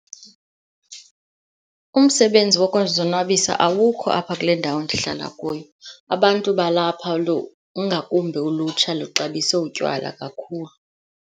Umsebenzi wokuzonwabisa awukho apha kule ndawo endihlala kuyo. Abantu balapha, ingakumbi ulutsha, luxabise utywala kakhulu.